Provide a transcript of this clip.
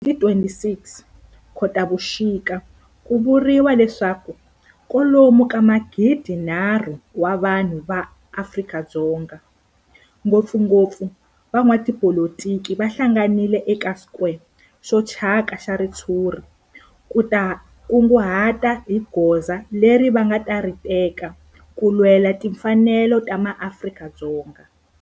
Hi ti 26 Khotavuxika ku vuriwa leswaku kwalomu ka magidinharhu wa vanhu va Afrika-Dzonga, ngopfungopfu van'watipolitiki va hlanganile eka square xo thyaka xa ritshuri ku ta kunguhata hi goza leri va nga ta ri teka ku lwela timfanelo ta maAfrika-Dzonga.